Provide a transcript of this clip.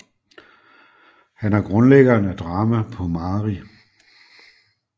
Han er grundlæggeren af drama på mari